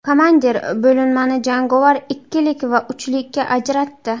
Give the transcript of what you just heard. Komandir bo‘linmani jangovar ikkilik va uchlikka ajratdi.